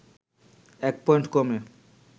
১ point কমে